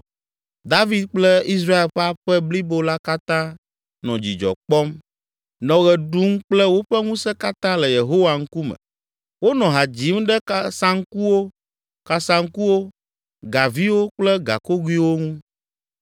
David kple Israel ƒe aƒe blibo la katã nɔ dzidzɔ kpɔm, nɔ ɣe ɖum kple woƒe ŋusẽ katã le Yehowa ŋkume. Wonɔ ha dzim ɖe saŋkuwo, kasaŋkuwo, gaviwo kple gakogoewo ŋu.